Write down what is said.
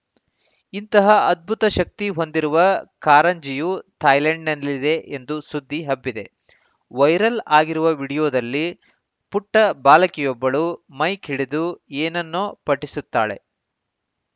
ಇಂತಹ ಅದ್ಭುತ ಶಕ್ತಿ ಹೊಂದಿರುವ ಕಾರಂಜಿಯು ಥಾಯ್ಲೆಂಡ್‌ನಲ್ಲಿದೆ ಎಂದೂ ಸುದ್ದಿ ಹಬ್ಬಿದೆ ವೈರಲ್‌ ಆಗಿರುವ ವಿಡಿಯೋದಲ್ಲಿ ಪುಟ್ಟಬಾಲಕಿಯೊಬ್ಬಳು ಮೈಕ್‌ ಹಿಡಿದು ಏನನ್ನೋ ಪಠಿಸುತ್ತಾಳೆ